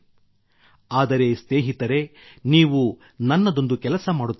ಆದರೆ ಸ್ನೇಹಿತರೇ ನೀವು ನನ್ನದೊಂದು ಕೆಲಸ ಮಾಡುತ್ತಿರಬೇಕು